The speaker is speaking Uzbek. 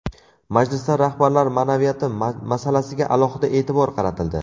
Majlisda rahbarlar ma’naviyati masalasiga alohida e’tibor qaratildi.